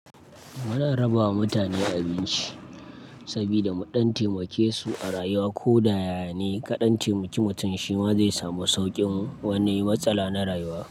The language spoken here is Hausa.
Ana rabawa mutane abinci sabida don taimake su a rayuwa ko da ya ne kaɗan ce, mutum shima zai samu sauƙin wani matsala na rayuwa.